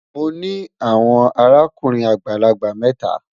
Mọ ní awọn àràkùnrin agbalagbà méta.